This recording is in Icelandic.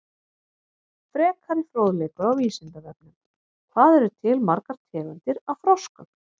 Frekari fróðleikur á Vísindavefnum: Hvað eru til margar tegundir af froskum?